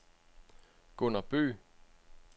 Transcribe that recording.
Gunner Bøgh